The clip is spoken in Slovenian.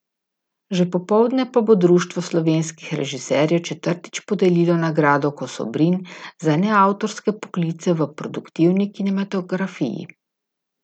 Že popoldne pa bo Društvo slovenskih režiserjev četrtič podelilo nagrado kosobrin za neavtorske poklice v produktivni kinematografiji.